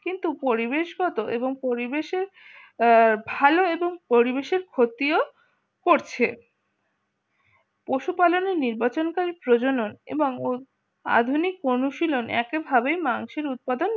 কিন্তু পরিবেশগত এবং পরিবেশের ভালো এবং পরিবেশের ক্ষতিও করছে পশু পালনের নির্বাচনকারী প্রজনন এবং আধুনিক অনুশীলন এক এভাবে মানুষের উৎপাদন